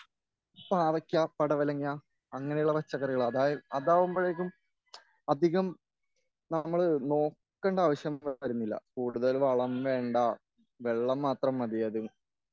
പാവയ്ക്ക പടവലങ്ങ അങ്ങനെയുള്ള പച്ചക്കറികൾ അതാവുമ്പഴേക്കും അധികം നമ്മള് നോക്കണ്ട ആവശ്യം വരുന്നില്ല.കൂടുതൽ വളം വേണ്ട.വെള്ളം മാത്രം മതി അതിന്